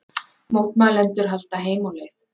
Mótmælendur halda heim á leið